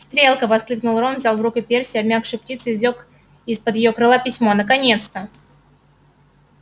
стрелка воскликнул рон взял из рук перси обмякшую птицу и извлёк из-под её крыла письмо наконец-то